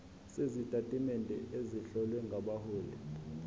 sezitatimende ezihlowe ngabahloli